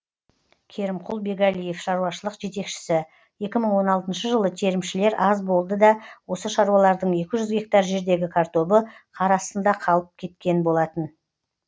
керімқұл бегалиев шаруашылық жетекшісі екі мың он алтыншы жылы терімшілер аз болды да осы шаруалардың екі жүз гектар жердегі картобы қар астында қалып кеткен болатын